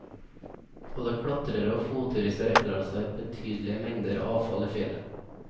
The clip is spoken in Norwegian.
Både klatrere og fotturister etterlater seg betydelig mengder avfall i fjellet.